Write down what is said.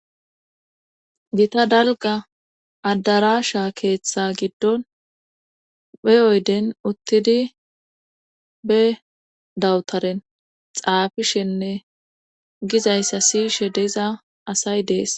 gita dalga adarasha keeththa giddon be oyden uttidi be dawutaren xaafishenne gizayssa siishe de'iza asay dees